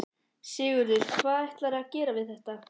Sigurður: Hvað ætlarðu að gera við þetta?